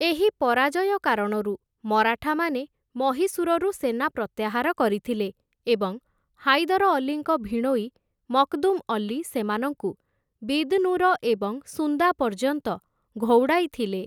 ଏହି ପରାଜୟ କାରଣରୁ ମରାଠାମାନେ ମହୀଶୂରରୁ ସେନା ପ୍ରତ୍ୟାହାର କରିଥିଲେ ଏବଂ ହାଇଦର ଅଲ୍ଲୀଙ୍କ ଭିଣୋଇ ମକ୍‌ଦୁମ୍‌ ଅଲ୍ଲୀ ସେମାନଙ୍କୁ ବିଦ୍‌ନୁର ଏବଂ ସୁନ୍ଦା ପର୍ଯ୍ୟନ୍ତ ଘଉଡ଼ାଇଥିଲେ ।